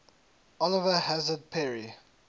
oliver hazard perry